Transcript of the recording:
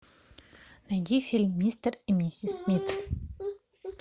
найди фильм мистер и миссис смит